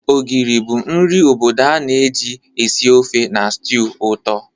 Ogiri bụ nri obodo a na-eji esi ofe na stew ụtọ.